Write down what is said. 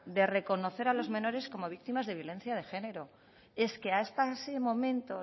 a los menores como víctimas de violencia de género es que hasta ese momento